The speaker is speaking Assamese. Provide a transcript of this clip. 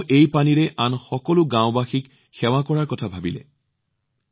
তেওঁ ভাবিছিল এই পানীৰে আন সকলো গাওঁবাসীক সেৱা নকৰেনো কিয়